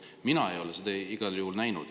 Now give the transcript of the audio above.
Mina ei ole seda igal juhul näinud.